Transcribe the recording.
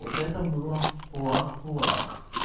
вот это было плак плак